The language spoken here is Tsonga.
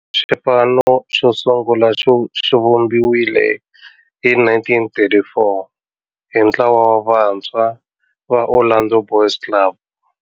Xipano xo sungula xivumbiwile hi 1934 hi ntlawa wa vantshwa va Orlando Boys Club.